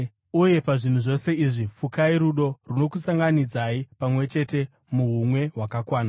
Uye pazvinhu zvose izvi fukai rudo, runokusunganidzai pamwe chete muhumwe hwakakwana.